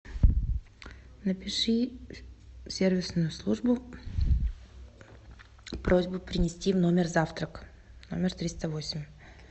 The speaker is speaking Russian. напиши в сервисную службу просьбу принести в номер завтрак номер триста восемь